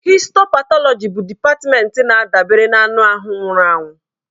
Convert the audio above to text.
Histo patọlọji bụ dịpatmenti na-adabere na anụ ahụ nwụrụ anwụ.